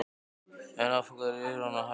En af hverju er hann að hætta?